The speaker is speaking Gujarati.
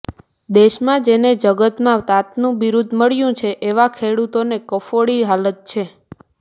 દેશમાં જેને જગતના તાતનું બિરૂદ મળ્યું છે એવા ખેડૂતોની કફોડી હાલત છે